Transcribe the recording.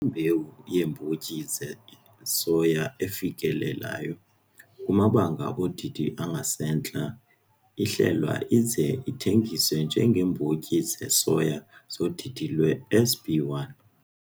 imbewu yeembotyi zesoya efikelelayo kumabanga odidi angasentla ihlelwa ize ithengiswe njengeembotyi zesoya zodidi lwe-SB1.